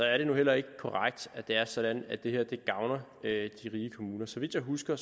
er det nu heller ikke korrekt at det er sådan at det her gavner de rige kommuner så vidt jeg husker